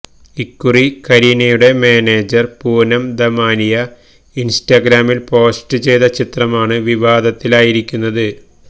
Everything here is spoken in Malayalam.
ഇക്കുറി കരീനയുടെ മാനേജര് പൂനം ദമാനിയ ഇന്സ്റ്റഗ്രാമില് പോസ്റ്റ് ചെയ്ത ചിത്രമാണ് വിവാദത്തിലായിരിക്കുന്നത്